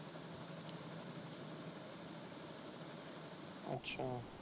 ਅੱਛਾ।